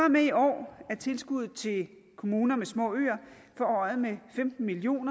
og med i år er tilskuddet til kommuner med små øer forhøjet med femten million